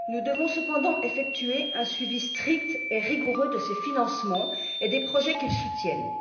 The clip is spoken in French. Nous devons cependant effectuer un suivi strict et rigoureux de ces financements et des projets qu'ils soutiennent.